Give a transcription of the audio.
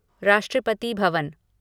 Rashtrapati Bhavan